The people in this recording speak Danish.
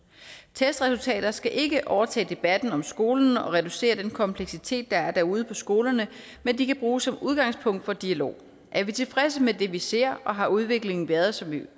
testresultater skal ikke overtage debatten om skolen og reducere den kompleksitet der er ude på skolerne men de kan bruges som udgangspunkt for dialog er vi tilfredse med det vi ser og har udviklingen været som vi